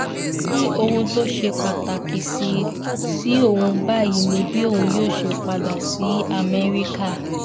ó ní ohun tó ṣe pàtàkì sí òun báyìí ni bí òun yóò ṣe padà sí amẹ́ríkà